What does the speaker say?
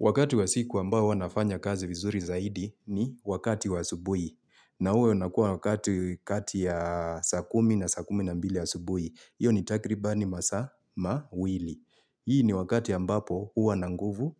Wakati wa siku ambao huwa nafanya kazi vizuri zaidi ni wakati wa asubui. Na huwa unakua wakati kati ya saa kumi na saa kumi na mbili asubui. Iyo ni takribani masaa mawili. Hii ni wakati ambapo huwa na nguvu,